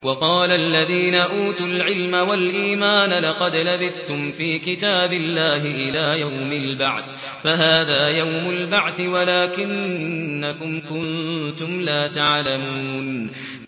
وَقَالَ الَّذِينَ أُوتُوا الْعِلْمَ وَالْإِيمَانَ لَقَدْ لَبِثْتُمْ فِي كِتَابِ اللَّهِ إِلَىٰ يَوْمِ الْبَعْثِ ۖ فَهَٰذَا يَوْمُ الْبَعْثِ وَلَٰكِنَّكُمْ كُنتُمْ لَا تَعْلَمُونَ